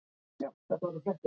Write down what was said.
Eða taktu strætó.